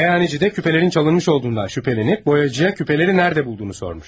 Meyxancı da küpələrin çalınmış olduğundan şübhələnib boyacıya küpələri nədə bulduğunu sormuş.